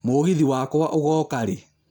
mũgithi wakwa ũgoka rĩ